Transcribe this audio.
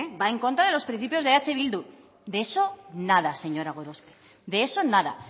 va en contra de los principios de eh bildu de eso nada señora gorospe de eso nada